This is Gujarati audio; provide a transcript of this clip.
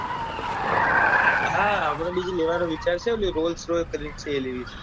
હા હમણાં બીજી લેવા નો વિચાર છે ઓલી rolls-royce કરી ને છે એ લેવી છે